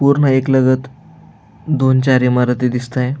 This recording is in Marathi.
पूर्ण एकलगत दोन चार इमारती दिसताय.